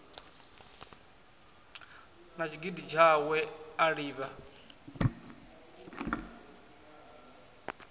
na tshigidi tshawe a livha